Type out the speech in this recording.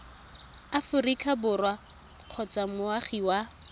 aforika borwa kgotsa moagi wa